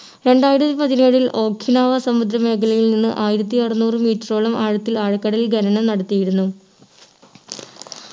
രണ്ടായിരത്തി പതിനേഴിൽ ഒഖിനാവ സമുദ്ര മേഖലയിൽ നിന്ന് ആയിരത്തി അറന്നൂറു metre ഓളം ആഴത്തിൽ ആഴക്കടൽ ഖനനം നടത്തിയിരുന്നു